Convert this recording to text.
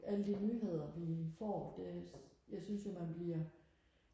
alle de nyheder vi får det jeg synes jo man bliver